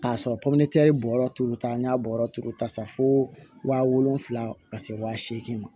K'a sɔrɔ pɔmɛritɛri bɔrɛ t'o ta n'a bɔ yɔrɔ t'o la u ta sa fo wa wolonwula ka se waa seegin ma